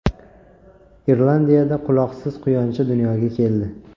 Irlandiyada quloqsiz quyoncha dunyoga keldi.